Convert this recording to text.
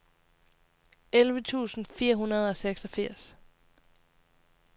elleve tusind fire hundrede og seksogfirs